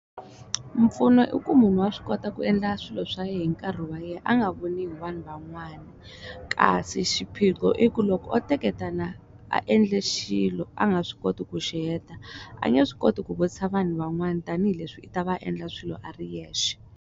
Mpfuno i ku munhu wa swi kota ku endla swilo swa yena hi nkarhi wa yena a nga voniwi hi vanhu van'wana kasi xiphiqo i ku loko o teketena a endla xilo a nga swi koti ku xiheta a nge swi koti ku vutisa vanhu van'wana tanihileswi i ta va a endla swilo a ri yexe.